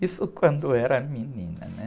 Isso quando era menina, né?